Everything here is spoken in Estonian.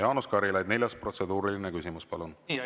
Jaanus Karilaid, neljas protseduuriline küsimus, palun!